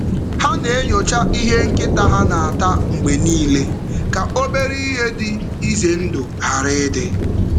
Ha na-enyocha ihe nkịta ha na-ata mgbe niile ka obere ihe dị ize ndụ ghara ịdị.